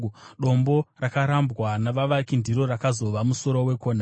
Dombo rakarambwa navavaki ndiro rakazova musoro wekona;